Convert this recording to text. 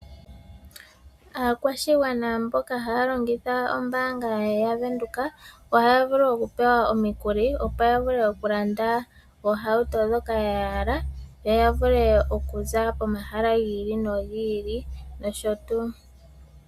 Aakwashigwana mboka haya longitha ombaanga ya Venduka ohaya vulu oku pewa omikuli opo ya vule okulanda oohauto dhoka ya hala yo ya vule okuza pomahala gi ili nogi ili nosho tuu.